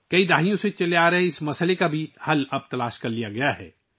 دہائیوں سے جاری اس مسئلے کا حل اب تلاش کر لیا گیا ہے